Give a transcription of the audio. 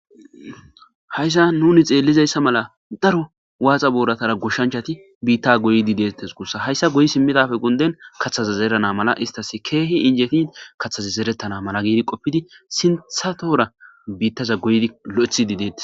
Hayssan nuni xelizaysa mala daro waxa booratara goshshsnchati bita goyid detes gusa ha goyi simidappe gunden kathaza zerana mala istas keehi injetin mala giidi qopid sintha tora bitaza goyid lo'ethid detes